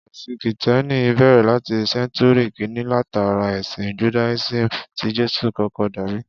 Ẹ̀sìn Kìtẹ́ẹ́nì bẹ̀rẹ̀ láti Sẹ́ńtúrì kíni látara ẹ̀sìn Judaism tí Jésù kọ́kọ́ darí.